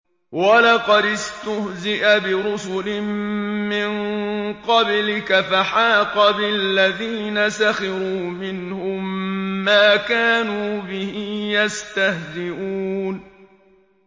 وَلَقَدِ اسْتُهْزِئَ بِرُسُلٍ مِّن قَبْلِكَ فَحَاقَ بِالَّذِينَ سَخِرُوا مِنْهُم مَّا كَانُوا بِهِ يَسْتَهْزِئُونَ